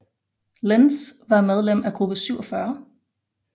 Lenz var medlem af Gruppe 47